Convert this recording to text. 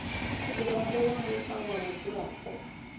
muraḓo wa muṱa wa mudzulapo